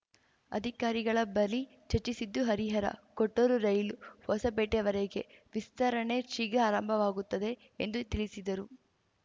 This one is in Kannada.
ಅಧಿಕಾರಿಗಳ ಬಳಿ ಚರ್ಚಿಸಿದ್ದು ಹರಿಹರಕೊಟ್ಟೂರು ರೈಲು ಹೊಸಪೇಟೆವರೆಗೆ ವಿಸ್ತರಣೆ ಶೀಘ್ರ ಆರಂಭವಾಗುತ್ತದೆ ಎಂದು ತಿಳಿಸಿದರು